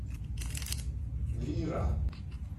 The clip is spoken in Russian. лира